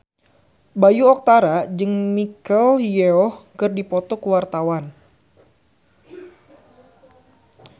Bayu Octara jeung Michelle Yeoh keur dipoto ku wartawan